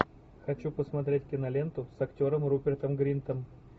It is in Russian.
хочу посмотреть киноленту с актером рупертом гринтом